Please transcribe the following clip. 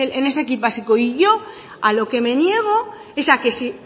en ese kit básico y yo a lo que me niego es a que si